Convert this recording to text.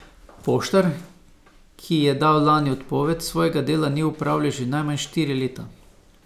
Poštar, ki je dal lani odpoved, svojega dela ni opravljal že najmanj štiri leta.